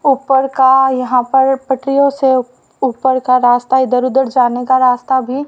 ऊपर का यहां पर पटरियों से ऊपर का रास्ता इधर उधर जाने का रास्ता भी--